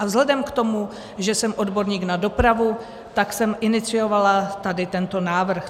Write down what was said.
A vzhledem k tomu, že jsem odborník na dopravu, tak jsem iniciovala tady tento návrh.